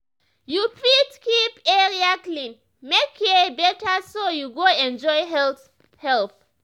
you fit keep area clean make care better so you go enjoy health help.